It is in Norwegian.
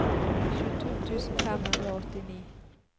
tjueto tusen fem hundre og åttini